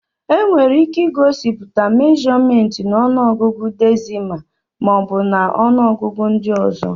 Enwere ike igosipụta mèjọmèntị na ọnụọgụ dèsịmá maọbu na ọnụọgụ ndị ọzọ